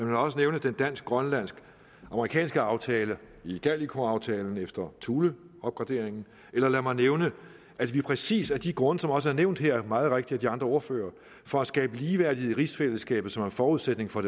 mig også nævne den dansk grønlandsk amerikanske aftale igaliku aftalen efter thule opgraderingen eller lad mig nævne at vi præcis af de grunde som også er nævnt her meget rigtigt af de andre ordførere for at skabe ligeværdighed i rigsfællesskabet som er forudsætning for